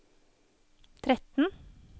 tretten